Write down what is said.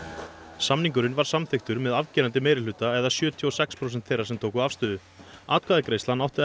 samningurinn var samþykktur með afgerandi meirihluta eða sjötíu og sex prósent þeirra sem tóku afstöðu atkvæðagreiðslan átti að